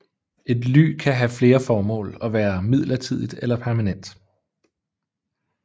Et ly kan have flere formål og være midlertidigt eller permanent